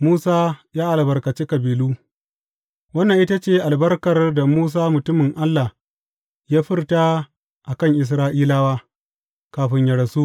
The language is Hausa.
Musa ya albarkaci kabilu Wannan ita ce albarkar da Musa mutumin Allah ya furta a kan Isra’ilawa, kafin yă rasu.